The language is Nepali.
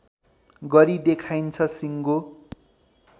गरी देखाइन्छ सिङ्गो